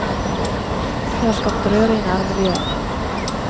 Det har skapt røre i nærmiljøet.